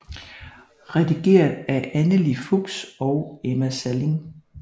Redigeret af Anneli Fuchs og Emma Salling